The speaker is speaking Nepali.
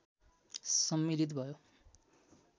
सम्मिलित भयो